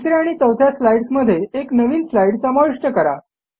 तिस या आणि चौथ्या स्लाईडस् मध्ये एक नवीन स्लाईड समाविष्ट करा